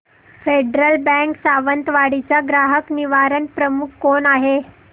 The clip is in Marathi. फेडरल बँक सावंतवाडी चा ग्राहक निवारण प्रमुख कोण आहे